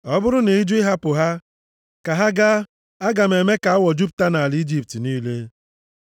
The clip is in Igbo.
Ọ bụrụ na ị jụ ịhapụ ha ka ha gaa, aga m eme ka awọ jupụta nʼala Ijipt niile.